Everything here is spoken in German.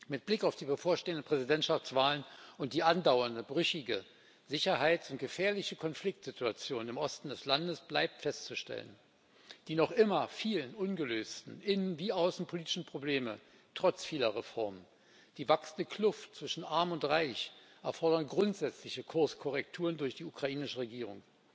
Mit Blick auf die bevorstehenden Präsidentschaftswahlen und die andauernde brüchige Sicherheits und gefährliche Konfliktsituation im Osten des Landes bleibt festzustellen Die noch immer vielen ungelösten innen wie außenpolitischen Probleme trotz vieler Reformen die wachsende Kluft zwischen Arm und Reich erfordern grundsätzliche Kurskorrekturen durch die ukrainische Regierung.